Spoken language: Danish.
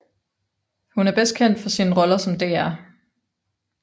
Hun er bedst kendt for sine roller som Dr